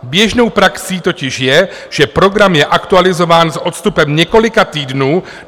Běžnou praxí totiž je, že program je aktualizován s odstupem několika týdnů.